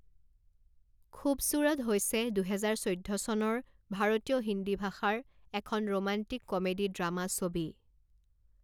খুবছুৰট হৈছে দুহেজাৰ চৈধ্য চনৰ ভাৰতীয় হিন্দী ভাষাৰ এখন ৰোমান্টিক কমেডী ড্ৰামা ছবি।